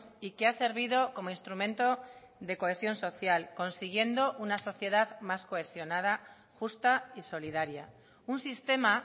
y que ha servido como instrumento de cohesión social consiguiendo una sociedad más cohesionada justa y solidaria un sistema